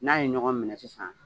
N'a ye ɲɔgɔn minɛ sisan